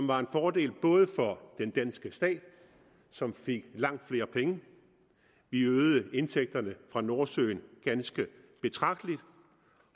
var en fordel for den danske stat som fik langt flere penge vi øgede indtægter fra nordsøolien ganske betragteligt